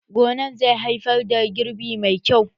Gonan zai haifar da girbi mai kyau